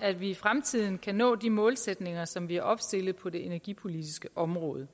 at vi i fremtiden kan nå de målsætninger som vi har opstillet på det energipolitiske område